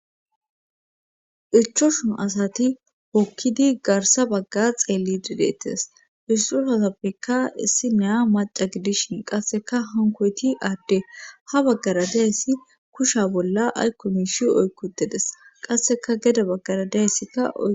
ichoshun asati hokkidi garsa bagga xeelli dideettes issusasappeka issi neya maca gidishin qasseka hankoyti aadde ha baggara diayssi kusha bolla aykko miishi oykkudedes qasseka geda baggara deayssika